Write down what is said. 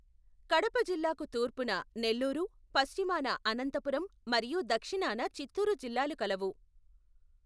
కడప జిల్లాకు తూర్పున నెల్లూరు పశ్చిమాన అనంతపురం మరియు దక్షిణాన చిత్తూరు జిల్లాలు కలవు.